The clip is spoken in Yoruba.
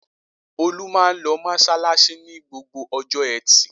Olú máa ń lọ mọ́ṣáláṣí ní gbogbo ọjọ́ ẹtì.